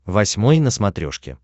восьмой на смотрешке